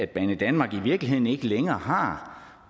banedanmark i virkeligheden ikke længere har